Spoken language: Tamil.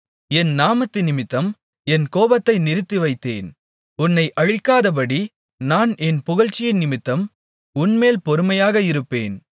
என் நாமத்தினிமித்தம் என் கோபத்தை நிறுத்திவைத்தேன் உன்னை அழிக்காதபடி நான் என் புகழ்ச்சியினிமித்தம் உன்மேல் பொறுமையாக இருப்பேன்